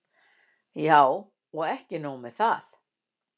Já, og ekki nóg með það.